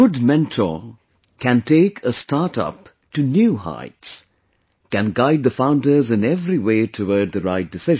A good mentor can take a startup to new heights... can guide the founders in every way toward the right decision